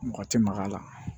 Mɔgɔ tɛ mak'a la